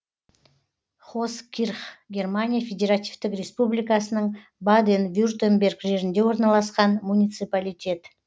хоскирх германия федеративтік республикасының баден вюртемберг жерінде орналасқан муниципалитет